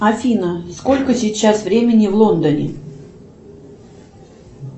афина сколько сейчас времени в лондоне